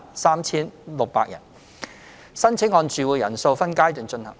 申請按住戶人數分階段進行。